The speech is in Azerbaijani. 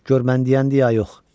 Gör mən deyəndir, ya yox.